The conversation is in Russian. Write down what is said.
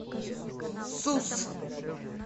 сус